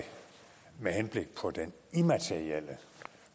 med henblik på den immaterielle